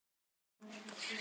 Og aldrei sagði hann nei.